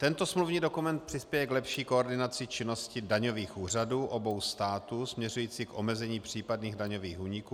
Tento smluvní dokument přispěje k lepší koordinaci činnosti daňových úřadů obou států směřující k omezení případných daňových úniků.